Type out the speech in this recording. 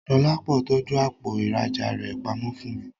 Dọlápọ̀ tọ́jú àpò ìrajà rẹ pamọ́ fún mi